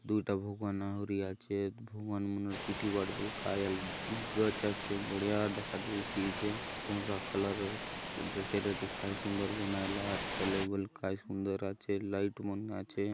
दू ठ भू बने आचे भू मन गच आचे बढ़िया दका देसी चे पर्रा कलर करे ट काय सुंदर बनाये लात त ले बल काय सुंदर आचे लाइट मन आचे।